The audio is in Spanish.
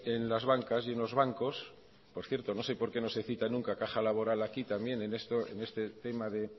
en las bancas y en los bancos que por cierto no sé por qué no se cita nunca caja laboral aquí también en este tema de